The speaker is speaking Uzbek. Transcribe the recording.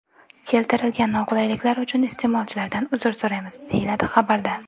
Keltirilgan noqulayliklar uchun iste’molchilardan uzr so‘raymiz, deyiladi xabarda.